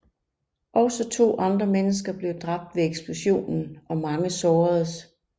Også 2 andre mennesker blev dræbt ved eksplosionen og mange såredes